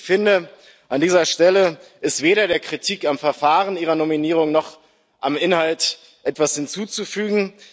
Ich finde, an dieser Stelle ist weder der Kritik am Verfahren Ihrer Nominierung noch am Inhalt etwas hinzuzufügen.